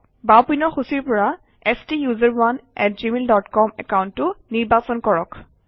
বাওঁপিনৰ সূচীৰ পৰা ষ্টাচাৰণে আত জিমেইল ডট কম একাউণ্টটো নিৰ্বাচন কৰক